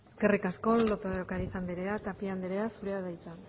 eskerrik asko lópez de ocariz andrea tapia andrea zurea da hitza